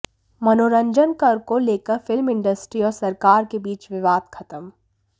मनोरंजन कर को लेकर फिल्म इंडस्ट्री और सरकार के बीच विवाद खत्म